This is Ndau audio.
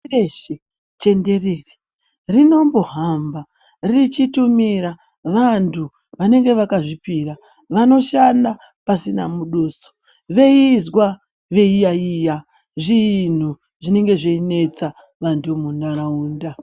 Pashi reshe tenderere rinombohamba richitumira vantu vanenge vakazvipira vanoshanda pasina muduso veizwa veiyaiya zvinhu zvinenge zveinetsa vantu muntaraunda.